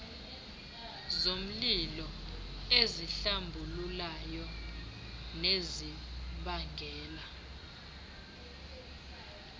zomlilo ezihlambululayo nezibangela